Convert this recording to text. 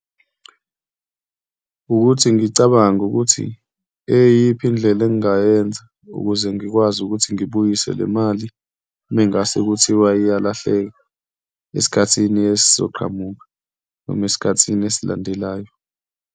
Wukuthi ngicabange ukuthi eyiphi indlela engingayenza ukuze ngikwazi ukuthi ngibuyise le mali uma ngase kuthiwa ayalahleka esikhathini esizoqhamuka noma esikhathini esilandelayo.